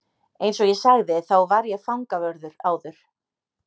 Eins og ég sagði þá var ég fangavörður áður.